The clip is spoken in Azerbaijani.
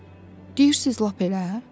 Yəni deyirsiz lap elə?